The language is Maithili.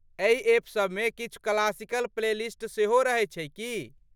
एहि एप सभमे किछु क्लासिकल प्लेलिस्ट सेहो रहैत छै की?